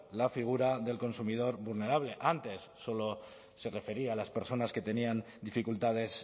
la figura del consumidor vulnerable antes solo se refería a las personas que tenían dificultades